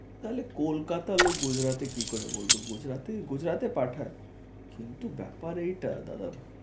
তাহলে কলকাতার লোক গুজরাটি কি করে বলতো গুজরাটে গুজরাটে পাঠায়? কিন্তু ব্যাপার এইটা দাদা